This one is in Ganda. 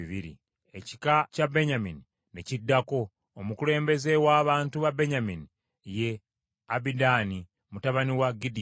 Ekika kya Benyamini ne kiddako. Omukulembeze w’abantu ba Benyamini ye Abidaani mutabani wa Gidyoni.